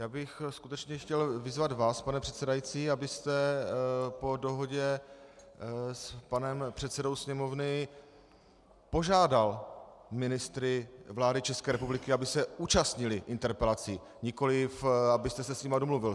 Já bych skutečně chtěl vyzvat vás, pane předsedající, abyste po dohodě s panem předsedou Sněmovny požádal ministry vlády České republiky, aby se účastnili interpelací, nikoliv abyste se s nimi domluvil.